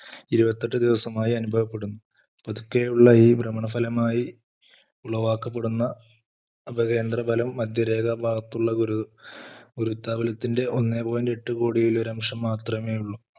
ഇരുപത്തി എട്ട് ദിവസമായി അനുഭവപ്പെടുന്നു. പതുക്കെ ഉള്ള ഈ ഭ്രമണഫലമായി ഉളവാക്കപ്പെടുന്ന അപ കേന്ദ്രഫലം മധ്യരേഖാ ഭാഗത്തുള്ള ഒരു വൃത്ത അകലത്തിന്റെ ഒന്നേ point എട്ടു കോടിയിൽ ഒരു അംശം മാത്രമേയുള്ളൂ.